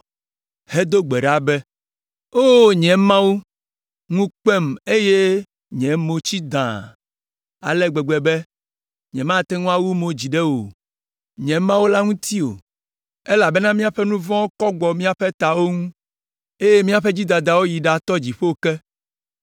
hedo gbe ɖa be: “O nye Mawu, ŋu kpem eye nye mo tsi dãa ale gbegbe be nyemate ŋu awu mo dzi ɖe wò, nye Mawu la ŋuti o, elabena míaƒe nu vɔ̃wo kɔ gbɔ míaƒe tawo ŋu, eye míaƒe dzidadawo yi ɖatɔ dziƒo ke.